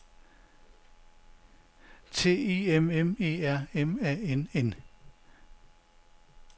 T I M M E R M A N N